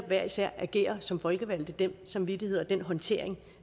hver især agerer som folkevalgt altså den samvittighed og den håndtering